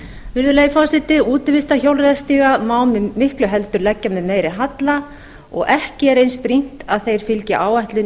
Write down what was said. virðulegi forseti útivistarhjólreiðarstíga má miklu heldur leggja með meiri halla og ekki er eins brýnt að þeir fylgi áætlun